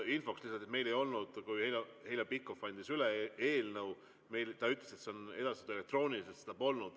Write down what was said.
Infoks lihtsalt, et kui Heljo Pikhof andis üle eelnõu, siis ta ütles, et see on edastatud elektrooniliselt, aga see polnud.